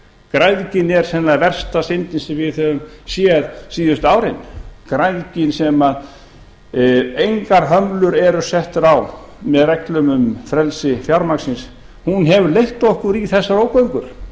græðgin er sennilega versta syndin sem við höfum séð síðustu árin græðgin sem engar hömlur eru settar á með reglum um frelsi fjármagnsins hún hefur leitt okkur í þessar ógöngur